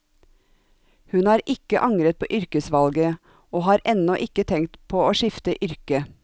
Hun har ikke angret på yrkesvalget, og har ennå ikke tenkt på å skifte yrke.